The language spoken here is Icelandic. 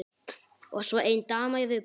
Og svo ein dama í viðbót.